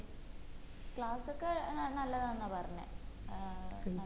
class ക്കെ ഏർ നല്ലതാന്നാ പറഞ്ഞ ഏർ